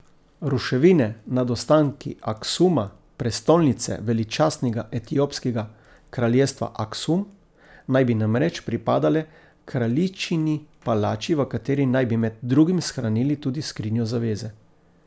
Ruševine pod ostanki Aksuma, prestolnice veličastnega etiopskega kraljestva Aksum, naj bi namreč pripadale kraljičini palači, v kateri naj bi med drugim shranili tudi skrinjo zaveze.